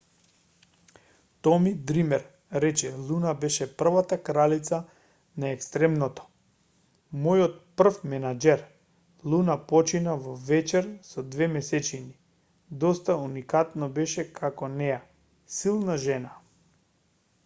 томи дример рече луна беше првата кралица на екстремното мојот прв менаџер луна почина во вечер со две месечини доста уникатно баш како неа силна жена